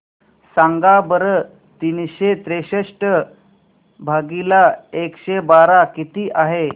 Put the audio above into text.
सांगा बरं तीनशे त्रेसष्ट भागीला एकशे बारा किती आहे